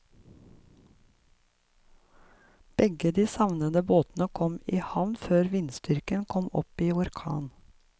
Begge de savnede båtene kom i havn før vindstyrken kom opp i orkan.